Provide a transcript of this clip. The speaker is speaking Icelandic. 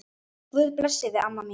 Guð blessi þig, amma mín.